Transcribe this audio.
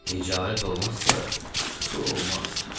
Ticarət olmazsa, pul olmaz.